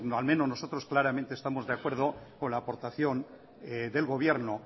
al menos nosotros claramente estamos de acuerdo con la aportación del gobierno